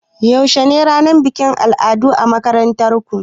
Yaushe ne ranar bikin al'adu a makarantar ku?